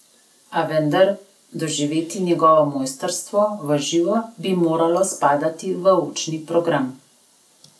A vendar, doživeti njegovo mojstrstvo v živo bi moralo spadati v učni program.